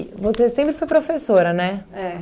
você sempre foi professora, né? É